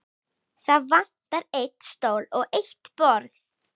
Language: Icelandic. Það vantar einn stól og eitt borð.